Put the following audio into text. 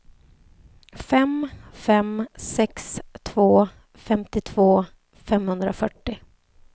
fem fem sex två femtiotvå femhundrafyrtio